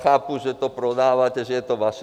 Chápu, že to prodáváte, že je to vaše.